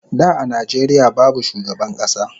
Da a Nijeria babu shugaban kasa